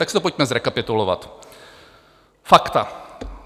Tak si to pojďme zrekapitulovat, fakta.